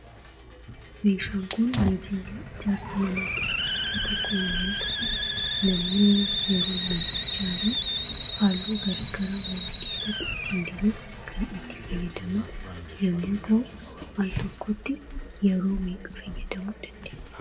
Meeshaan kun meeshaalee ijaarsa manaa keessaa isa tokko yemmuu ta'u namoonni yeroo mana ijaaran halluu garaa garaa mana keessatti ittiin dibuuf kan itti fayyadaman yemmuu ta'u al tokkotti yeroo meeqa fayyadamuu dandeenya?